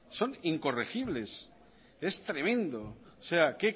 son incorregibles es tremendo o sea